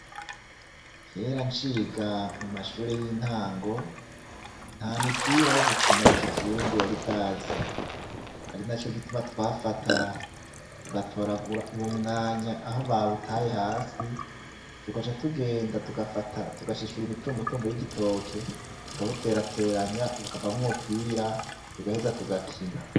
Kera nciga mu mashure y'intango, nta mipira yogukina yikizungu yari bwaze, ari naco gituma twafata tugatoragura ubumwanya aho babutaye hasi, tugaca tugenda tugafata tugashishura imitumbutumbu vy'igitoki tukabuterateranya ukavamwo umupira tugaheza tugakina.